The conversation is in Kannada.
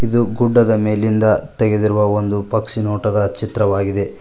ಇದು ಗುಡ್ಡದ ಮೇಲಿಂದ ತೆಗೆದಿರುವ ಒಂದು ಪಕ್ಷಿ ನೋಟದ ಚಿತ್ರವಾಗಿದೆ.